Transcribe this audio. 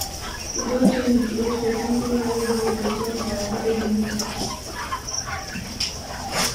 We don change the age for people wey go dey join our village meeting